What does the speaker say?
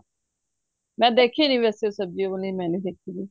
ਮੈਂ ਦੇਖੀ ਨੀਂ ਵੈਸੇ ਸਬਜੀ ਉਹ ਵਾਲੀ ਮੈਂ ਨਹੀਂ ਦੇਖੀ